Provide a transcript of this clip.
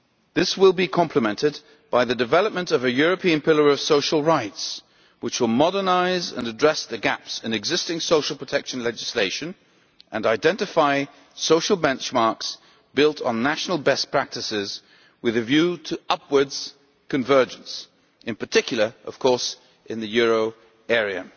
This will be complemented by the development of a European pillar of social rights which will modernise and address the gaps in existing social protection legislation and identify social benchmarks built on national best practices with a view to upwards convergence, in particular of course in the euro area.